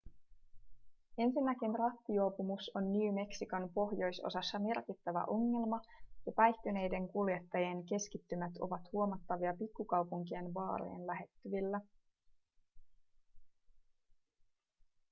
ensinnäkin rattijuopumus on new mexicon pohjoisosassa merkittävä ongelma ja päihtyneiden kuljettajien keskittymät ovat huomattavia pikkukaupunkien baarien lähettyvillä